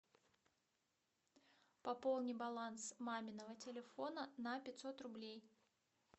пополни баланс маминого телефона на пятьсот рублей